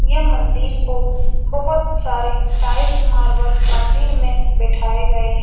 ये मंदिर को बहुत सारे टाइल्स मार्बल मंदिर में बैठाए गए हैं।